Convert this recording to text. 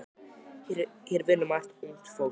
Hér vinnur margt ungt fólk.